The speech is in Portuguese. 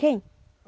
Quem?